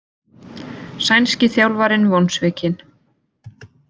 Sænski þjálfarinn vonsvikinn